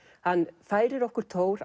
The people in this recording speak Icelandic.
hann færir okkur Thor